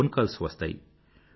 phone calls వస్తాయి